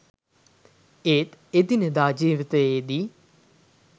ඒත් එදිනෙදා ජීවිතේදී